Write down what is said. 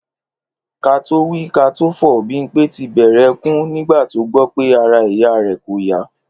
Ká tó wí ká tó fò, Bímpé ti bè̩rè̩ e̩kún nígbà tó gbó̩ pé ara ìyá rè̩ kò yá